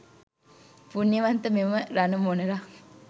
පුණ්‍යවන්ත මෙම රණ මොණරා,